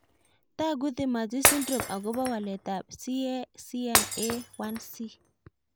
Tag'u Timothy syndrome akopo walet ab CACNA1C